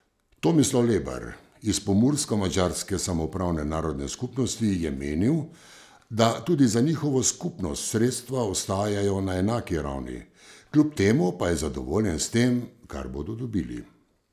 Tomislav Lebar iz Pomursko madžarske samoupravne narodne skupnosti je menil, da tudi za njihovo skupnost sredstva ostajajo na enaki ravni, kljub temu pa je zadovoljen s tem, kar bodo dobili.